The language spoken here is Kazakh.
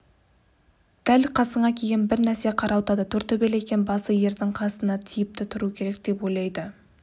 дәл қасыңа киген бір нәрсе қарауытады тортөбел екен басы ердің қасына тиіпті тұру керек деп ойлады